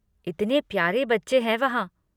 इतने प्यारे बच्चे हैं वहाँ।